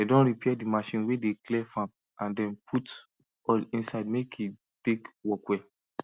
dem don repair d machine wey dey clear farm and dem put oil inside make e take work well